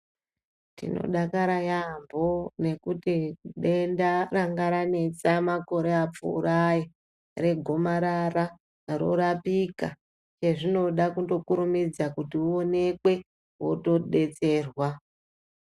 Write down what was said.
Tinodakara yambho nekuti denda ranga ranetsa makore apfuurayo regomarara rorapikaa zvinoda kundokurumidza kuti uonekwe wotodetserwa.